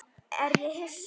Er ég Hissa?